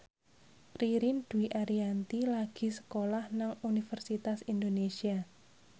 Ririn Dwi Ariyanti lagi sekolah nang Universitas Indonesia